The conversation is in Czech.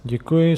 Děkuji.